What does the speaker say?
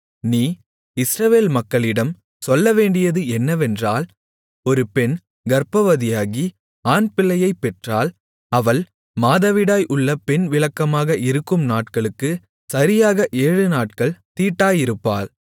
நீ இஸ்ரவேல் மக்களிடம் சொல்ல வேண்டியது என்னவென்றால் ஒரு பெண் கர்ப்பவதியாகி ஆண்பிள்ளையைப் பெற்றால் அவள் மாதவிடாய் உள்ள பெண் விலக்கமாக இருக்கும் நாட்களுக்குச் சரியாக ஏழுநாட்கள் தீட்டாயிருப்பாள்